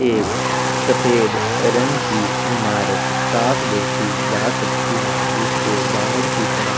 एक सफ़ेद रंग की ईमारत साफ देखि जा सकती है जिसके बाहर की तरफ--